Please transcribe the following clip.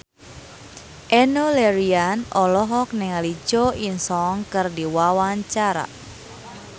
Enno Lerian olohok ningali Jo In Sung keur diwawancara